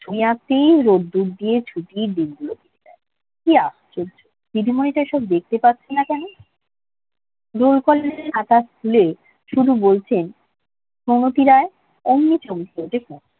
নেহাতি রোদ্দুর দিয়ে ছুটির দিনগুলো কি আশ্চর্য দিদিমণিটা এসব দেখতে পাচ্ছে না কেন রোল কলের খাতা খুলে শুধু বলছেন কুমতি রায় অমনি চমকে ওঠে কুমু